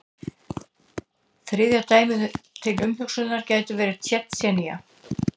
Þriðja dæmið til umhugsunar gæti verið Tsjetsjenía.